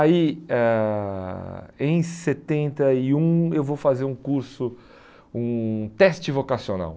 Aí ãh em setenta e um eu vou fazer um curso, um teste vocacional.